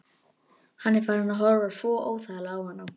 Hann er farinn að horfa svo óþægilega á hana.